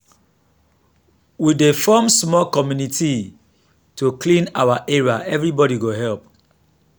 we dey form small committee to clean our area everybody go help.